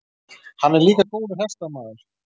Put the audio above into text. Hann er líka góður hestamaður.